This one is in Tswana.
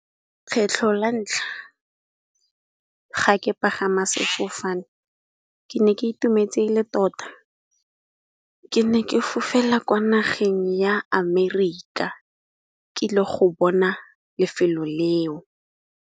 Kgetlho la ntlha ga ke pagama sefofane, ke ne ke itumetse e le tota. Ke ne ke fofela kwa nageng ya Amerika ke le go bona lefelo leo.